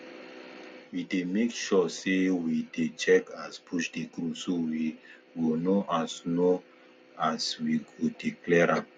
we dey make sure sey we dey check as bush dey grow so we go know as know as we go dey clear am